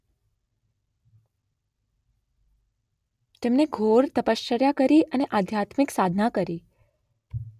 તેમણે ઘોર તપશ્ચર્યા કરી અને આધ્યાત્મિક સાધના કરી